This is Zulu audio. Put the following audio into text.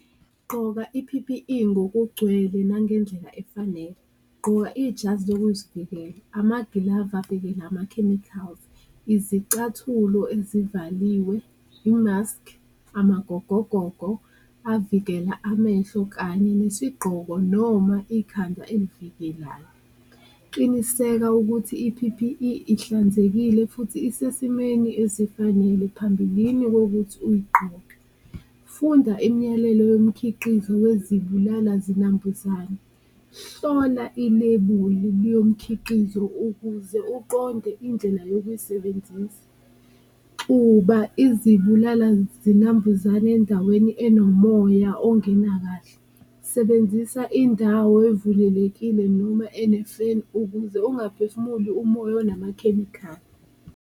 Gqoka i-P_P_E ngokugcwele nangendlela efanele, gqoka ijazi lokuzivikela, amagilavu avikela ama-chemicals, izicathulo ezivaliwe, imaskhi, amagogogogo avikela amehlo kanye nesigqoko noma ikhanda elivikelayo. Qiniseka ukuthi i-P_P_E ihlanzekile futhi isesimweni ezifanele phambilini kokuthi uyigqoke, funda imiyalelo yomkhiqizo wezibulala-zinambuzane, hlola ilebuli lomkhiqizo ukuze uqonde indlela yokusebenzisa. Xuba izibulala-zinambuzane endaweni enomoya ongena kahle, sebenzisa indawo evulelekile noma ene-fan kuze ungaphefumuli umoya onamakhemikhali.